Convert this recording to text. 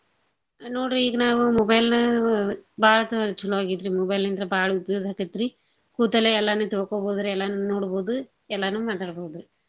ನೋಡ್ರಿ ಈಗ್ ನಾವು mobile ನ ಬಾಳ್ ತ~ ಚೊಲೋ ಆಗೇತ್ರೀ mobile ಇಂತ್ರ ಬಾಳ್ ಉಪ್ಯೋಗ್ ಹತ್ತೆತ್ರಿ ಕೂತಲ್ಲೆ ಎಲ್ಲಾನೂ ತಿಳ್ಕೋಬೋದ್ರಿ ಎಲ್ಲಾನೂ ನೋಡ್ಬೋದು ಎಲ್ಲಾನೂ ಮಾತಾಡ್ಬೋದು.